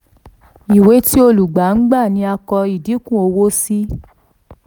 ìwé ti olùgbà gbà ni a kọ ìdínkù owó sí.